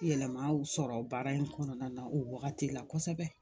Yɛlɛmaw sɔrɔ baara in kɔnɔna na o wagati la kosɛbɛ